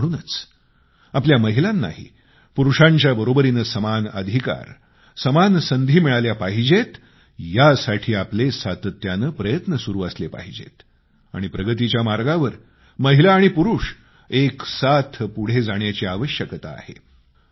आणि म्हणूनच आपल्या महिलांनाही पुरूषांच्या बरोबरीने समान अधिकार समान संधी मिळाल्या पाहिजेत यासाठी आपले सातत्याने प्रयत्न सुरू असले पाहिजेत आणि प्रगतीच्या मार्गावर महिला आणि पुरूष बरोबरीने पुढे जाण्याची आवश्यकता आहे